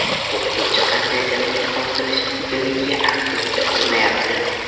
O‘qituvchi qanday jazoga tortilishi mumkinligiga aniqlik kiritilmayapti.